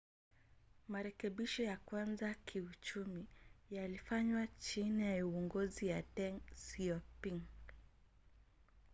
marekebisho ya kwanza ya kiuchumi yalifanywa chini ya uongozi wa deng xiaoping